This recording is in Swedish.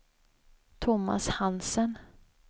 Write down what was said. Thomas Hansen